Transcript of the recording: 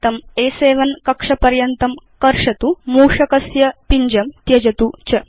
तं अ7 कक्षपर्यन्तं कर्षतु मूषकपिञ्जं त्यजतु च